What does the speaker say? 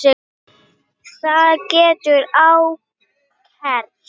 Það hefur ágerst.